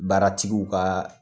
Baaratigiw ka